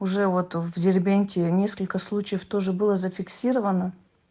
уже вот в дербенте несколько случаев тоже было зафиксировано